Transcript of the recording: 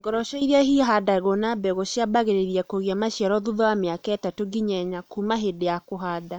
Ngoroco iria ihandĩtwo na mbegũ ciambagĩrĩria kũgĩa maciaro thutha wa mĩaka 3 nginya 4 kuuma hĩndĩ ya kũhanda.